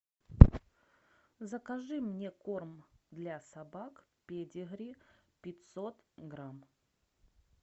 закажи мне корм для собак педигри пятьсот грамм